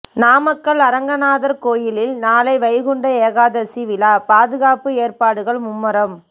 நாமக்கல் அரங்கநாதா் கோயிலில் நாளை வைகுண்ட ஏகாதசி விழாபாதுகாப்பு ஏற்பாடுகள் மும்முரம்